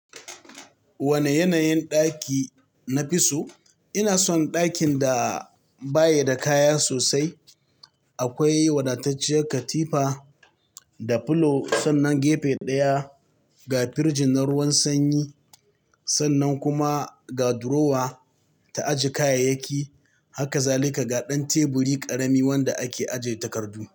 Wane yanayin ɗaki nafi so? Ina son ɗakin da baya da kaya sosai. Akwai wadatacciyar katifa da filo sannan gefe ɗaya ga firjin na ruwan sanyi sannan kuma ga durowa ta ajiye kayayyaki. Hakazalika ga ɗan teburi ƙarami wanda ake ajiye takardu.